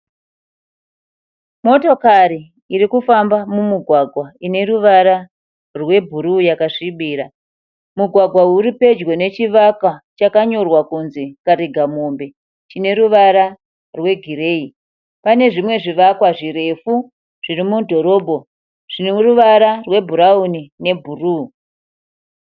Motokari iri kufamba mumugwagwa ine ruvara rwebhuruu yakasvibira. Mugwagwa uyu uri pedyo nechivakwa chakanyorwa kunzi Karigamombe chine ruvara rwegireyi. Pane zvimwe zvivakwa zvirefu zviri mudhorobho zvine ruvara rwebhurauni nebhuruu.